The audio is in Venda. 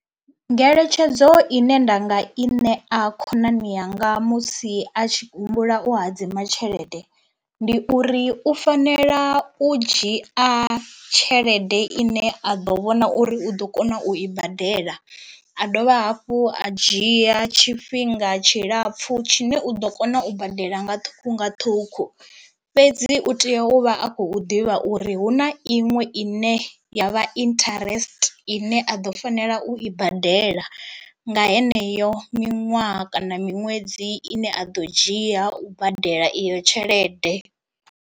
Ngeletshedzo ine nda nga i ṋea khonani yanga musi a tshi humbula u hadzima tshelede ndi uri u fanela u dzhia tshelede ine a ḓo vhona uri u ḓo kona u i badela, a dovha hafhu a dzhia tshifhinga tshilapfhu tshine u ḓo kona u badela nga ṱhukhu nga ṱhukhu fhedzi u tea u vha a khou ḓivha uri hu na iṅwe ine ya vha interest ine a ḓo fanela u i badela nga heneyo miṅwaha kana miṅwedzi ine a ḓo dzhia u badela iyo tshelede.